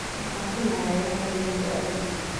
Waxaan filayaa inay Nayroobi aadayso.